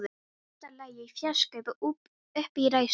Mesta lagi í fjarska uppi í ræðustól.